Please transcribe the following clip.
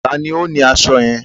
Ta ni ó ni aṣọ yẹn?